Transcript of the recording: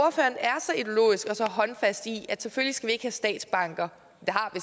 så håndfast i at selvfølgelig skal vi ikke have statsbanker